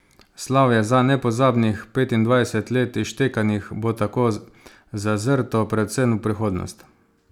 Slavje za nepozabnih petindvajset let izštekanih bo tako zazrto predvsem v prihodnost.